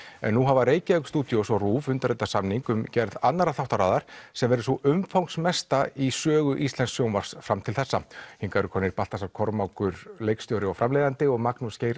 en nú hafa Reykjavík studios og RÚV undirritað samning um gerð annarrar þáttaraðar sem verður sú umfangsmesta í sögu íslensks sjónvarps fram til þessa hingað eru komnir Baltasar Kormákur leikstjóri og framleiðandi og Magnús Geir